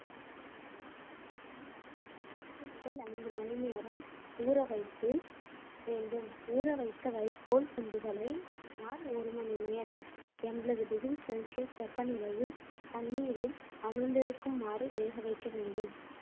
நாலு முதல் ஐந்து மணி நேரம் ஊற வைத்து வேண்டும் ஊறவைத்த வைக்கோல் துண்டுகளை சுமார் ஒரு மணி நேரம் எண்பது டிகிரி செல்சியஸ் வெப்பநிலையில் தண்ணீரில் அமிழ்ந்திருக்குமாறு வேக வைக்க வேண்டும்